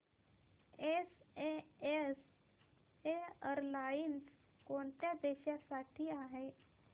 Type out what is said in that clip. SAS airlines कोणत्या देशांसाठी आहे